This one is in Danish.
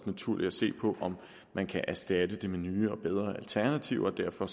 naturligt at se på om man kan erstatte den med nye og bedre alternativer derfor